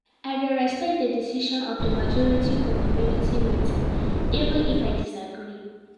I dey respect di decision of di majority for community meeting even if I disagree.